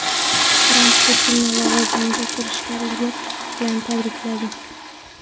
Tramp Putinni lavozimiga kirishganligi bilan tabrikladi.